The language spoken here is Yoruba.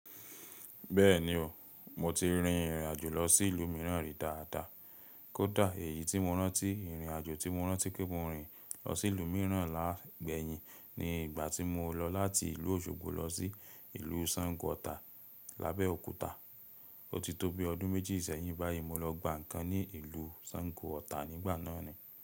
Bẹ́ẹ̀ni o, mo ti rin ìrìnàjò lọ sí ìlú mìíràn rí dáàdà. Kódà èyí tí mo rántí, ìrìnàjò tí mo rántí pe mo rìn lọ sí ìlú mìíràn láàgbè yín ni ìgbà tí mo lọ láti ìlú Òṣogbo lọ sí ìlú Sango Ọ̀tà lábẹ́ Òkúta. Ó ti tó bí ọdún méjì sẹ́yìn báyìí mo lọ gba nǹkan ní ìlú Sango Ọ̀tà nígbà náà ni.